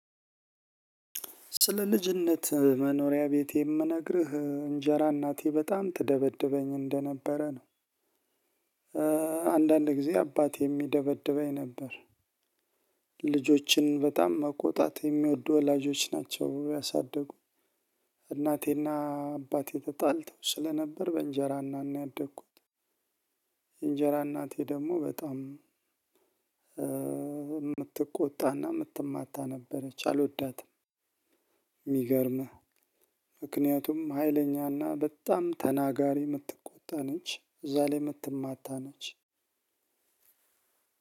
ስለ ልጅነት መኖሪያ ቤቴ የምነግርህ እንጀራ እናቴ በጣም ትደበድበኝ እንደነበረ ነው። አንዳንድ ጊዜ አባቴም ይደበድበኝ ነበር። ልጆችን በጣም መቆጣት የሚወዱ ወላጆች ናቸው ያሳደጉ። እናቴና አባቴ ተጣልተው ስለነበር በእንጀራ እናት ነው ያደኩት። እንጀራ እናቴ ደግሞ በጣም ምትቆጣና ምትማታ ነበረች አልወዳትም። የሚገርምህ። ምክንያቱም ሀይለኛና በጣም ተናጋሪ የምትቆጣ ነች እዛ ላይ ምትማታ ነች።